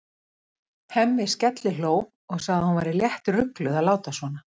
Hemmi skellihló og sagði að hún væri léttrugluð að láta svona.